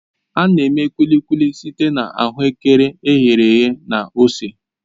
A na-eme Kulikuki site na ahuekere e ghere eghe na ose